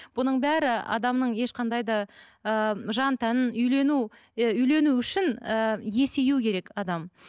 бұның бәрі адамның ешқандай да ы жан тәнін үйлену і үйлену үшін ііі есею керек адам